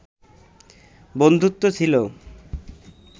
বন্ধুত্ব ছিল